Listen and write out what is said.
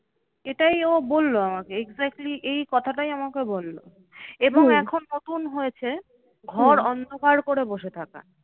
এটাই ও বললো আমাকে exactly এই কথাটাই আমাকে বললো। এবং এখন নতুন হয়েছে ঘর অন্ধকার করে বসে থাকা।